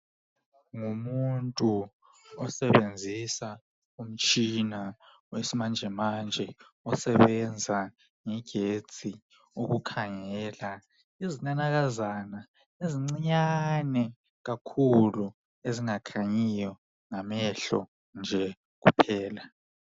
Ngumuntu osebenzisa umtshina wesimanjemanje osebenza ngegetsi ukukhangela izinanakazana ezincinyane kakhuku ezingakhanyiyo ngamehlo nje kuphela.